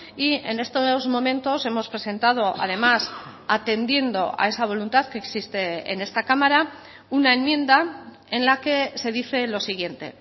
y en estos momentos hemos presentado además atendiendo a esa voluntad que existe en esta cámara una enmienda en la que se dice lo siguiente